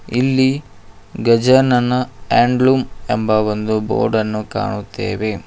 ಇಲ್ಲಿ Gajanana handloom ಎಂಬ ಒಂದು ಬೋರ್ಡ್ ಅನ್ನು ಕಾಣುತ್ತೇವೆ.